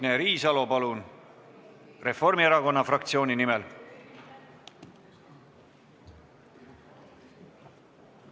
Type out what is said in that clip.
Signe Riisalo Reformierakonna fraktsiooni nimel, palun!